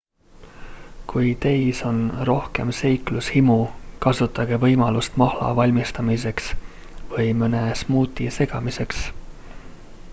kui teis on rohkem seiklushimu kasutage võimalust mahla valmistamiseks või mõne smuuti segamiseks